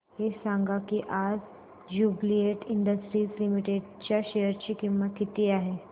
हे सांगा की आज ज्युबीलेंट इंडस्ट्रीज लिमिटेड च्या शेअर ची किंमत किती आहे